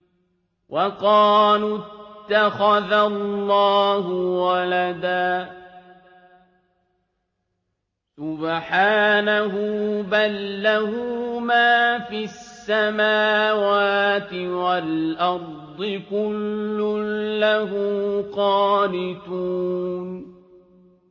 وَقَالُوا اتَّخَذَ اللَّهُ وَلَدًا ۗ سُبْحَانَهُ ۖ بَل لَّهُ مَا فِي السَّمَاوَاتِ وَالْأَرْضِ ۖ كُلٌّ لَّهُ قَانِتُونَ